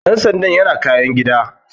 Dan sandan yana kayan gida.